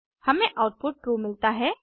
हमें output true मिलता है